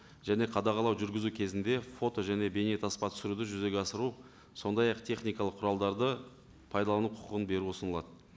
және қадағалау жүргізу кезінде фото және бейнетаспа түсіруді жүзеге асыру сондай ақ техникалық құралдарды пайдалану құқығын беру ұсынылады